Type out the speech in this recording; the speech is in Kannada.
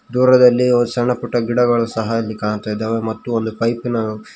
ದೂರದಲ್ಲಿ ಒಂದು ಸಣ್ಣ ಪುಟ್ಟ ಗಿಡಗಳು ಸಹ ಇಲ್ಲಿ ಕಾಣುತ್ತಾ ಇದ್ದಾವೆ ಮತ್ತು ಒಂದು ಪೈಪಿ ನ --